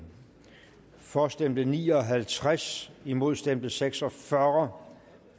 for stemte ni og halvtreds imod stemte seks og fyrre